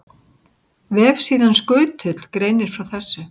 Vefsíðan Skutull greinir frá þessu.